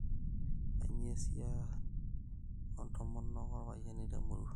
kainyioo esiasi oontomonok orpayiani temurrua